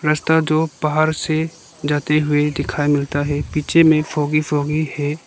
रास्ता जो पहाड़ से जाते हुए दिखाई मिलता है पीछे में फोकी फोकी है।